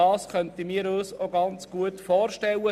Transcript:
Das könnten wir uns auch gut vorstellen.